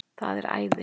Það er æði!